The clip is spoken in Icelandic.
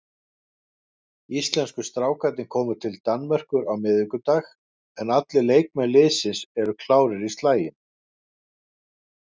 Íslensku strákarnir komu til Danmerkur á miðvikudag en allir leikmenn liðsins eru klárir í slaginn.